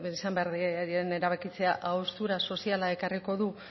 izan behar diren erabakitzea haustura soziala ekarriko du